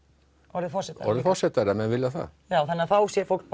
orðið forsetar orðið forsetar ef menn vilja það já þannig að þá sé fólk